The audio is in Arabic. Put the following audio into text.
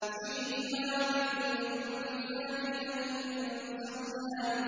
فِيهِمَا مِن كُلِّ فَاكِهَةٍ زَوْجَانِ